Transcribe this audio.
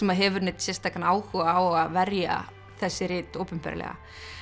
hefur neinn sérstakan áhuga á að verja þessi rit opinberlega